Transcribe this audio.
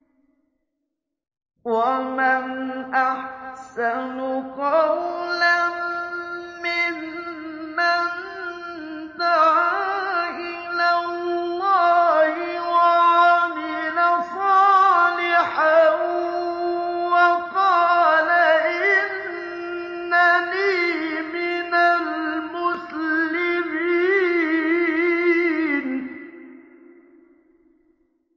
وَمَنْ أَحْسَنُ قَوْلًا مِّمَّن دَعَا إِلَى اللَّهِ وَعَمِلَ صَالِحًا وَقَالَ إِنَّنِي مِنَ الْمُسْلِمِينَ